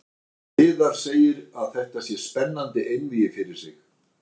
Viðar segir að þetta sé spennandi einvígi fyrir sig.